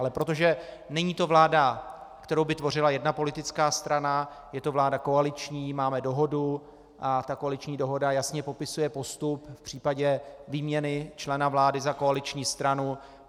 Ale protože není to vláda, kterou by tvořila jedna politická strana, je to vláda koaliční, máme dohodu a ta koaliční dohoda jasně popisuje postup v případě výměny člena vlády za koaliční stranu.